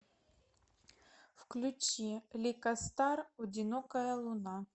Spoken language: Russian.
включи лика стар одинокая луна